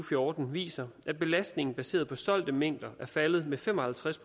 fjorten viser at belastningen baseret på solgte mængder er faldet med fem og halvtreds